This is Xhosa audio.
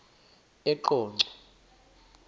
eqonco